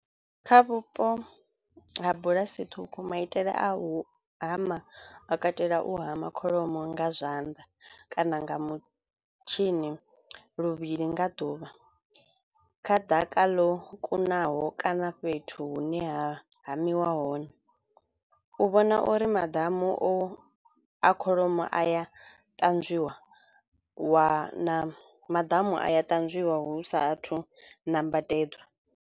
Kha vhupo ha bulasi ṱhukhu maitele a u hama a katela u hama kholomo nga zwanḓa kana nga mutshini luvhili nga ḓuvha kha ḓaka ḽo kunaho kana fhethu hune ha hamiwa hone u vhona uri madamu o a kholomo a ya ṱanzwiwa wa na madamu a ya ṱanzwiwa hu sathu nambatedzwa.